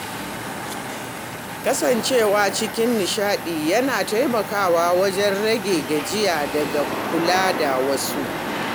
Kasancewa cikin nishaɗi yana taimakawa wajen rage gajiya daga kula da wasu.